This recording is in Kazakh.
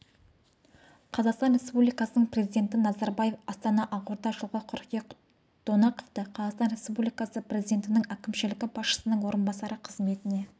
қазақстан республикасының президенті назарбаев астана ақорда жылғы қыркүйек донақовты қазақстан республикасы президентінің әкімшілігі басшысының орынбасары қызметіне